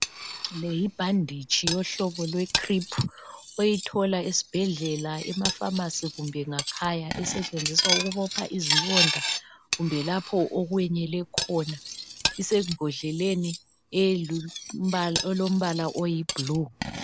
Le yibhanditshi yohlobo lwe khriphu, oyithola esibhedlela, emafamasi kumb' emakhaya esetshenziswa ukubopha izilonda kumbe lapho okwenyele khona. Isembodleleni elombala oyibhulu.